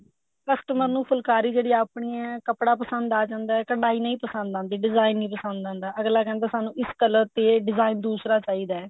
customer ਨੂੰ ਫੁਲਕਾਰੀ ਜਿਹੜੀ ਆਪਣੀ ਐ ਕੱਪੜਾ ਪਸੰਦ ਆ ਜਾਂਦਾ ਕਢਾਈ ਨਹੀਂ ਪਸੰਦ ਆਂਦੀ design ਨਹੀਂ ਪਸੰਦ ਆਂਦਾ ਅੱਗਲਾ ਕਹਿੰਦਾ ਸਾਨੂੰ ਇਸ color ਤੇ design ਦੂਸਰਾ ਚਾਹੀਦਾ